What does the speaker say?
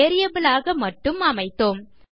variable ஆக மட்டும் அமைத்தோம்